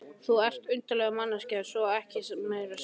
Þú ert undarleg manneskja svo ekki sé meira sagt.